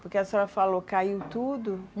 Porque a senhora falou, caiu tudo.